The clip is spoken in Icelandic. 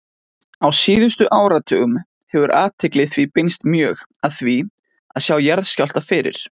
Á síðustu áratugum hefur athygli því beinst mjög að því að sjá jarðskjálfta fyrir.